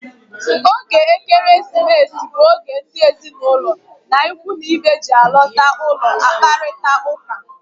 Oge Ekeresimesi bụ oge ndị ezinụlọ na ikwu na ibe ji alọta ụlọ akparita ụka.